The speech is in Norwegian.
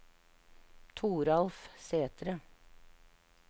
Toralf Sætre